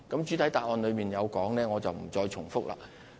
主體答覆中有提到的內容，我便不再重複了。